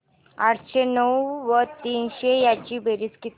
आठशे नऊ व तीनशे यांची बेरीज किती